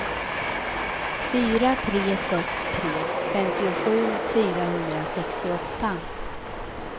fyra tre sex tre femtiosju fyrahundrasextioåtta